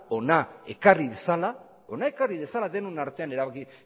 hona ekarri dezala